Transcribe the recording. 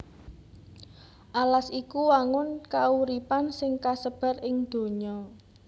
Alas iku wangun kauripan sing kasebar ing donya